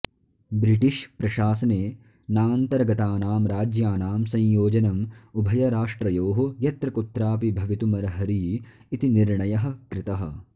British प्रशासने नान्तर्गतानां राज्यानां संयोजनम् उभयराष्ट्रयोः यत्रकुत्रापि भवितुमर्हरि इति निर्णयः कृतः